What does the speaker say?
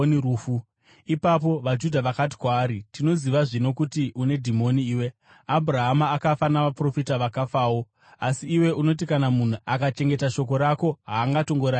Ipapo vaJudha vakati kwaari, “Tinoziva zvino kuti une dhimoni iwe! Abhurahama akafa navaprofita vakafawo, asi iwe unoti kana munhu akachengeta shoko rako, haangatongoraviri rufu.